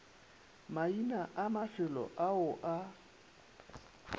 maina a mafelo ao a